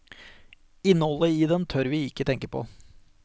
Innholdet i den tør vi ikke tenke på.